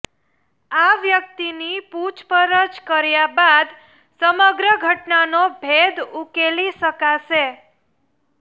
આ વ્યક્તિની પૂછપરછ કર્યા બાદ સમગ્ર ઘટનાનો ભેદ ઉકેલી શકાશે